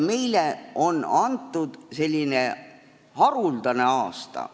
Meile on antud selline haruldane aasta.